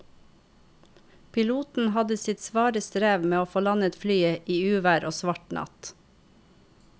Piloten hadde sitt svare strev med å få landet flyet i uvær og svart natt.